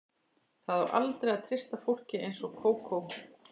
Það á aldrei að treysta fólki eins og Kókó.